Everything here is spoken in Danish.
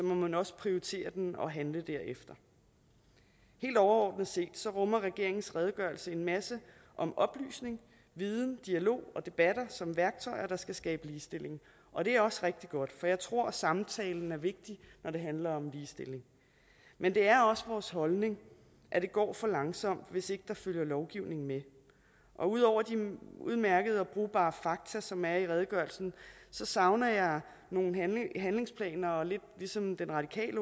må man også prioritere den og handle derefter helt overordnet set rummer regeringens redegørelse en masse om oplysning viden dialog og debatter som værktøjer der skal skabe ligestilling og det er også rigtig godt for jeg tror samtalen er vigtig når det handler om ligestilling men det er også vores holdning at det går for langsomt hvis ikke der følger lovgivning med og ud over de udmærkede og brugbare fakta som er i redegørelsen savner jeg nogle handlingsplaner og lidt ligesom den radikale